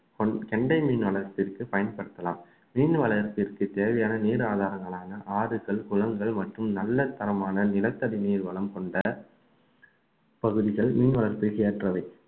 கொண்~ கெண்டைமீன் அளவிற்கு பயன்படுத்தலாம் மீன் வளத்திற்கு தேவையான நீர் ஆதாரங்களான ஆறுகள், குளங்கள் மற்றும் நல்ல தரமான நிலத்தடி நீர் வளம் கொண்ட பகுதிகள் மீன் வளர்ப்புக்கு ஏற்றவை